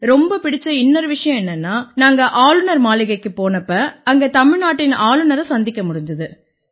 ரொம்ப பிடிச்ச இன்னொரு விஷயம் என்னென்னா நாங்க ஆளுநர் மாளிகைக்குப் போனப்ப அங்க தமிழ்நாட்டின் ஆளுநரை சந்திக்க முடிஞ்சுது